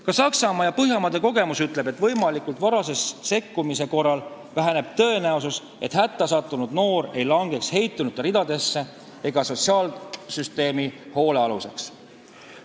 Ka Saksamaa ja Põhjamaade kogemus ütleb, et varase sekkumise korral väheneb tõenäosus, et hätta sattunud noor langeb heitunute ridadesse ja sotsiaalsüsteemi hoolealuseks.